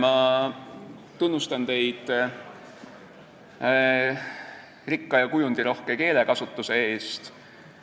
Ma tunnustan teid rikka ja kujundirohke keelekasutuse eest.